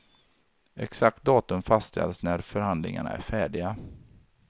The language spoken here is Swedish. Exakt datum fastställs när förhandlingarna är färdiga.